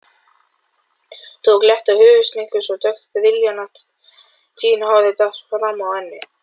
Tók létta höfuðhnykki svo dökkt brilljantínhárið datt frammá ennið.